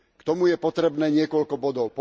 K tomu je potrebné niekoľko bodov.